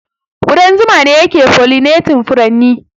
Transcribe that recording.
Ƙudan zuma ne yake pollinating furanni.